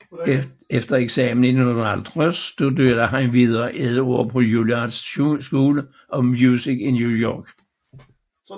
Efter eksamen i 1950 studerede han videre i et år på Juilliard School of Music i New York